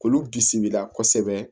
K'olu bisimila kosɛbɛ